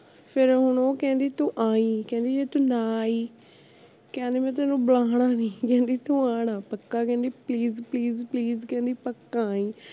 ਫੇਰ ਉਹ ਹੁਣ ਕਹਿੰਦੀ ਤੂੰ ਆਈ ਕਹਿੰਦੀ ਜੇ ਤੂੰ ਨਾ ਆਈ ਕਹਿੰਦੀ ਮੈਂ ਤੈਨੂੰ ਬੁਲਾਣਾ ਨੀ ਕਹਿੰਦੀ ਤੂੰ ਆਉਣਾ ਪੱਕਾ ਕਹਿੰਦੀ please please please ਕਹਿੰਦੀ ਪੱਕਾ ਆਈ